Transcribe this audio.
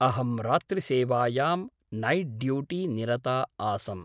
अहं रात्रिसेवायां night duty निरता आसम् ।